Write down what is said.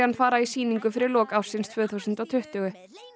fara í sýningu fyrir lok ársins tvö þúsund og tuttugu